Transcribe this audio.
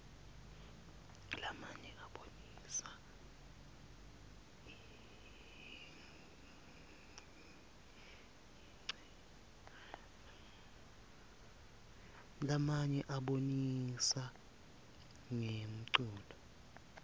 lamaye abonisa rnqemculo